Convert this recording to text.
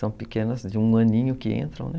São pequenas de um aninho que entram, né?